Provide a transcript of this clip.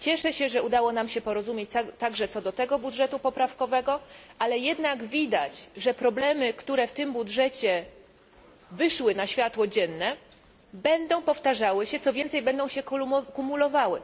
Cieszę się, że udało się nam porozumieć także co do tego budżetu korygującego, ale widać, że problemy, które w tym budżecie wyszły na światło dzienne, będą powtarzały się, co więcej, będą się kumulowały.